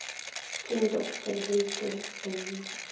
Þín dóttir, Hildur Brynja.